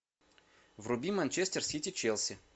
вруби манчестер сити челси